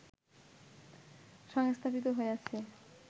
সংস্থাপিত হইয়াছে